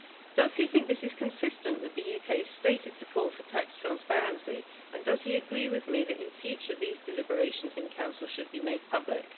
Does he think this is consistent with the UK's stated support for tax transparency, and does he agree with me that in future these deliberations in Council should be made public?